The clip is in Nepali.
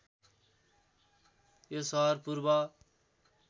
यो सहर पूर्व